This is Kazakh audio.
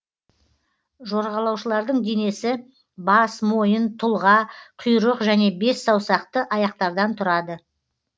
жорғалаушылардың денесі бас мойын тұлға құйрық және бессаусақты аяқтардан тұрады